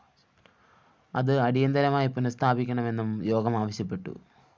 അത്‌ അടിയന്തരമായി പുനസ്ഥാപിക്കണമെന്നും യോഗം ആവശ്യപ്പെട്ടു